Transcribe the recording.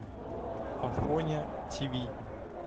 афоня тв